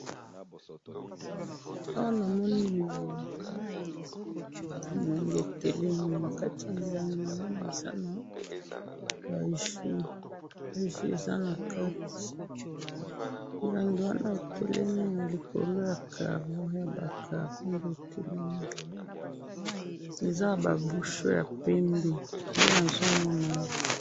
Awa na moni milangi milangi etelemi nakati ya milangi namoni eza na ba jus ,ba jus eza nakati milangi wana etelemi naliko ya karo yaba karo nde etelemi eza naba bouchon ya pembe nde nazomona awa.